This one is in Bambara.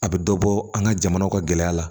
A bɛ dɔ bɔ an ka jamana ka gɛlɛya la